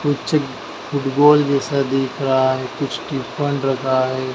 पीछे फूटबॉल जैसा दिख रहा है कुछ तिरपाल रखा है।